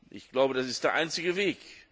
Ich glaube, das ist der einzige Weg.